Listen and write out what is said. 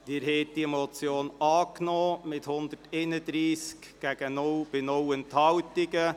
Sie haben die Motion angenommen mit 131 Ja- gegen 0 Nein-Stimmen und 0 Enthaltungen.